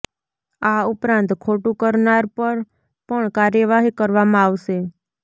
આ ઉપરાંત ખોટું કરનાર પર પણ કાર્યવાહી કરવામાં આવશે